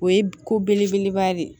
O ye ko belebeleba de ye